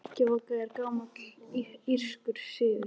Hrekkjavaka er gamall írskur siður.